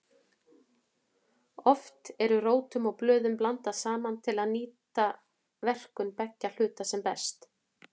Oft eru rótum og blöðum blandað saman til að nýta verkun beggja hluta sem best.